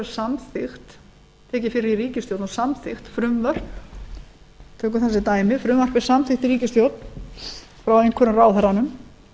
samþykkt tekin fyrir í ríkisstjórn og samþykkt frumvörp tökum sem dæmi frumvarp er samþykkt í ríkisstjórn frá einhverjum ráðherranum